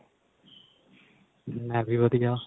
ਮੈਂ ਵੀ ਵਧੀਆ